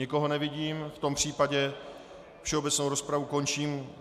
Nikoho nevidím, v tom případě všeobecnou rozpravu končím.